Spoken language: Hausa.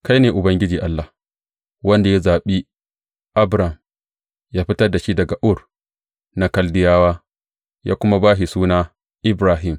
Kai ne Ubangiji Allah, wanda ya zaɓi Abram, ya fitar da shi daga Ur na Kaldiyawa, ya kuma ba shi suna Ibrahim.